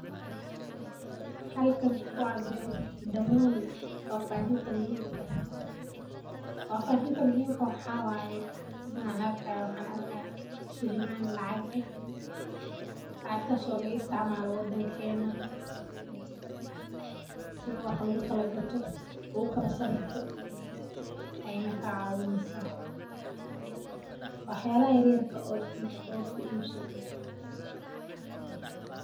Halkan wa damaan fafahinta muhimka fafahinta muhimka waxawaye, sethan arkayo waxa arkahaya sheliman lacag eeh lacgatas oo laga isticmaloh wadangenah, sethi wax lagukalakatoh, lagukala sariftoh, Ayan kacawineysah waxyalhan yaryarka oo ibsatoh oo kuibsatoh .